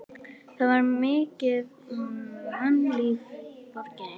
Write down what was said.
Það var mikið mannlíf í borginni.